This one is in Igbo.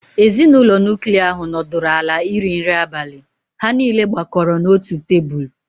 Ezinụlọ nuklia ahụ nọdụrụ ala iri nri abalị, ha niile gbakọrọ n'otu tebụl.